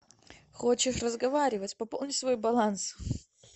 хочешь разговаривать пополни свой баланс